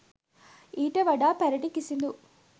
ඊට වඩා පැරණි කිසිඳූ